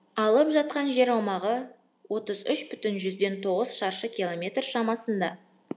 алып жатқан жер аумағы отыз үш бүтін жүзден тоғыз шаршы километр шамасында